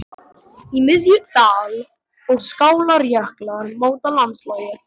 Í miðju: dal- og skálarjöklar móta landslagið.